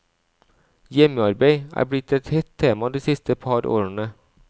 Hjemmearbeid er blitt et hett tema de siste par årene.